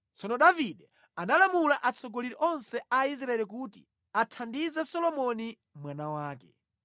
Tsono Davide analamula atsogoleri onse a Israeli kuti athandize Solomoni mwana wake.